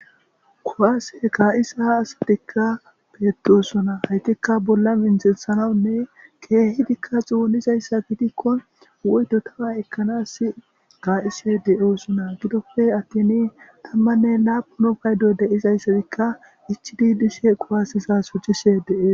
Kuwasse ka'iza assatika bettosona, ettika bolla mithethanawu kehidika xonidayisa gidiko woyitoka ekanasi ka'iyishe dosona gidope atini tamane lapuni payido dizayisika ichidi dishe kuwse shocishe desi